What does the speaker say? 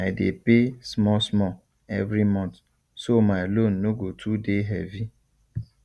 i dey pay small small every month so my loan no go too dey heavy